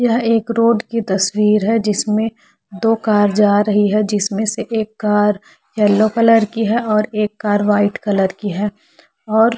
यह एक रोड की तस्वीर है जिसमे दो कार जा रही है जिसमे से एक कार येलो कलर की है और एक कार वाइट कलर की है और--